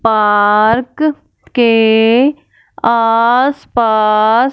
park के आस पास--